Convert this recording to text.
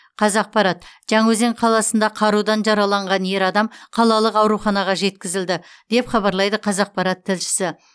қазақпарат жаңаөзен қаласында қарудан жараланған ер адам қалалық ауруханаға жеткізілді деп хабарлайды қазақпарат тілшісі